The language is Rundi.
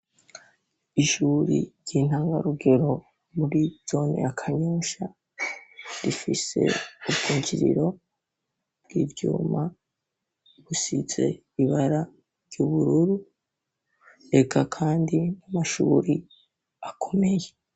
Ishuri ry'intangarugero muri zone ya Kanyosha rifise ubwunjiriro bw'ivyuma busize ibara ry'ubururu, eka kandi n'amashuri akomeye.